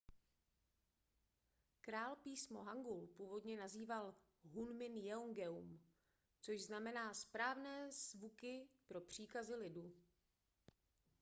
král písmo hangul původně nazýval hunmin jeongeum což znamená správné zvuky pro příkazy lidu